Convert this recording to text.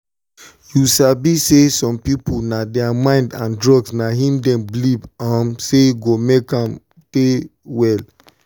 you sabi say some people na thier mind and drugs na him them believe um say go make um them well.